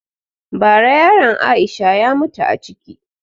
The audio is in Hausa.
Ba ra yaran Aisha ya mutu a ciki